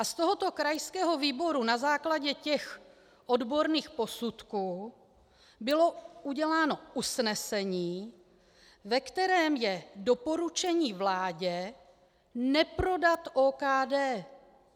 A z tohoto krajského výboru na základě těch odborných posudků bylo uděláno usnesení, ve kterém je doporučení vládě neprodat OKD.